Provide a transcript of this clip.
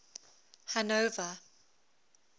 hanover